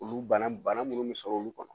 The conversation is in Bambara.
Olu bana bana munnu min sɔrɔ olu kɔnɔ